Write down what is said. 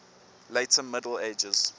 later middle ages